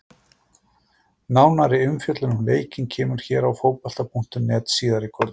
Nánari umfjöllun um leikinn kemur hér á Fótbolta.net síðar í kvöld.